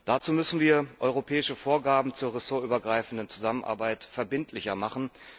Dazu müssen wir die europäischen Vorgaben zur ressortübergreifenden Zusammenarbeit verbindlicher machen.